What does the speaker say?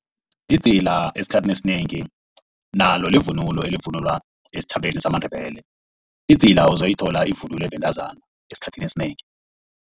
Idzila esikhathini esinengi nalo livunulo elivunulwa esitjhabeni zamaNdebele. Idzila uzoyithola ivunulwa bentazana esikhathini esinengi.